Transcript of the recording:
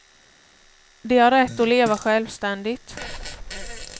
De har rätt att leva självständigt.